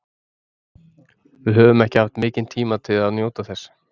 Við höfum ekki haft mikinn tíma til að njóta þess.